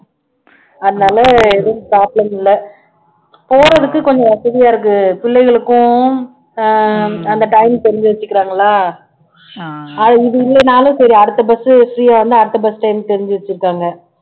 அதுனால எதும் problem இல்ல போறதுக்கு கொஞ்சம் வசதியா இருக்கு புள்ளைகளுக்கும் ஆஹ் அந்த timing தெரிஞ்சு வச்சுக்குறாங்களா அது இது இல்லேன்னாலும் சரி அடுத்த bus free ஆ இருந்தா அடுத்த bus time தெரிஞ்சு வச்சுருக்காங்க